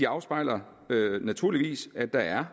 afspejler naturligvis at der er